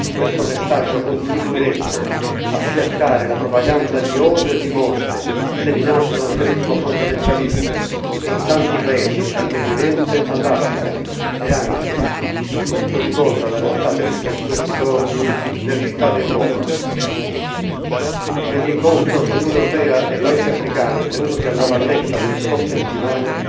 Questo messaggio contribuirebbe a fiaccare la propaganda di odio e di morte seminata dal terrorismo fondamentalista, in tanti paesi, dal Medio Oriente all'Africa e anche come ce lo ricorda la realtà triste di questi giorni nelle città d'Europa. Nell'incontro fra Unione europea e paesi africani tenutosi a La Valletta nelle scorse settimane,